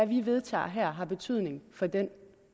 vi vedtager her har betydning for den